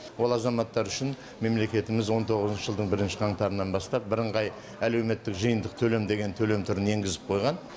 ол азаматтар үшін мемлекетіміз он тоғызыншы жылдың бірінші қаңтарынан бастап бірыңғай әлеуметтік жиынтық төлем деген төлем түрін енгізіп қойған